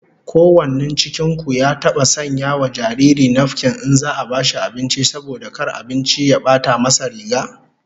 Ko wanin cikin ku ya taba sanya wa jariri nafkin in za'a bashi abinci, saboda kar abinci ya bata nasa riga?